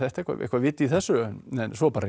eitthvað eitthvað vit í þessu svo réði